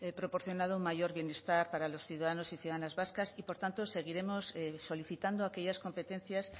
proporcionado mayor bienestar para los ciudadanos y ciudadanas vascas y por tanto seguiremos solicitando aquellas competencias